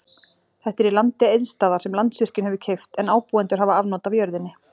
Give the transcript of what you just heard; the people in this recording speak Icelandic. Þetta er í landi Eiðsstaða, sem Landsvirkjun hefur keypt, en ábúendur hafa afnot af jörðinni.